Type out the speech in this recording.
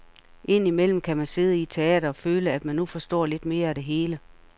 Ind imellem kan man sidde i et teater og føle, at man nu forstår lidt mere af det hele.